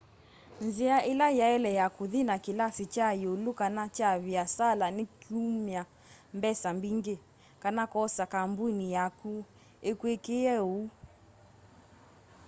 nzia ila yaile ya kuthi na kilasi kya iulu kana kya viasala ni kumya mbesa mbingi kana kwosa kambuni yaku ikwikie úu